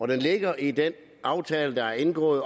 ligger i den aftale der er indgået